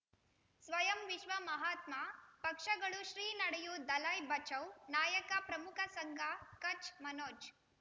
ಸ್ವಯಂ ವಿಶ್ವ ಮಹಾತ್ಮ ಪಕ್ಷಗಳು ಶ್ರೀ ನಡೆಯೂ ದಲೈ ಬಚೌ ನಾಯಕ ಪ್ರಮುಖ ಸಂಘ ಕಚ್ ಮನೋಜ್